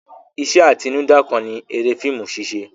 Iṣẹ́ atinúdá kan ni eré fíìmù ṣíṣẹ.